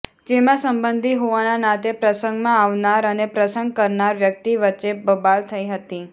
જેમાં સંબંધી હોવાના નાતે પ્રસંગમાં આવનાર અને પ્રસંગ કરનાર વ્યક્તિ વચ્ચે બબાલ થઇ હતી